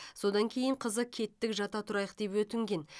содан кейін қызы кеттік жата тұрайық деп өтінген